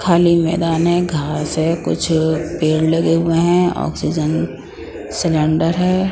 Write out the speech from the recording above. खाली मैदान है घास है कुछ पेड़ लगे हुए हैं ऑक्सीजन सिलेंडर है।